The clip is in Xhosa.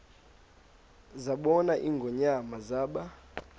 zabona ingonyama zaba